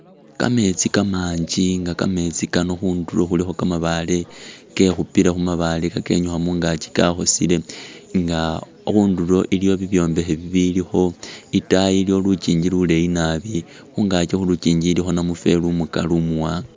Kametsi kamanji nga kamesti kano khunduro khulikho kamabale kekhupile khumabale khakenyukha mungakyi kakhosele nga khunduro iliyo bibyombekhe bibilikho itayi iliyo lukingi luleyi nabi , khungakyi khu’lukingi ilikho namufeli umukali umuwanga.